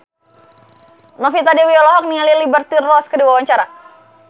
Novita Dewi olohok ningali Liberty Ross keur diwawancara